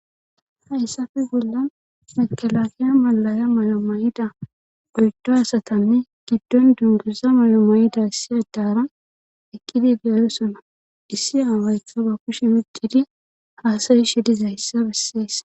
hayssafe bolla mekalakiya malaya mayo may7ida oydo asatanne giddon dunguza mayo may7ida issi addara ekkidi gaayosona issi aawayta ba kushe wuddidi haasayi shi dizayssa besseessa